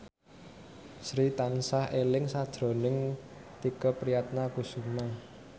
Sri tansah eling sakjroning Tike Priatnakusuma